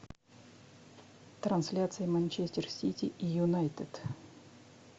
трансляция манчестер сити и юнайтед